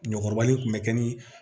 Ɲɔkɔrɔba in kun bɛ kɛ ni